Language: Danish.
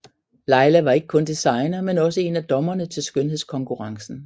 Laila var ikke kun designer men også en af dommerne til skønhedskonkurrencen